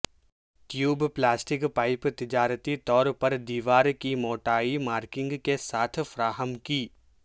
tube plastic pipe تجارتی طور پر دیوار کی موٹائی مارکنگ کے ساتھ فراہم کی